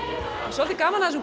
svolítið gaman af þessum